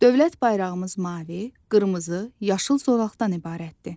Dövlət bayrağımız mavi, qırmızı, yaşıl zolaqdan ibarətdir.